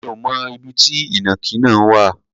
Mi ò mọ ibi tí ìnàkí náà wà.